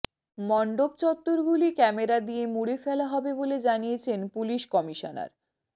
মণ্ডপচত্বরগুলি camera দিয়ে মুড়ে ফেলা হবে বলে জানিয়েছেন পুলিশ কমিশনার